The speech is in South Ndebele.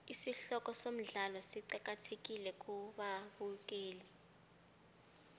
isihloko somdlalo siqakathekile kubabukeli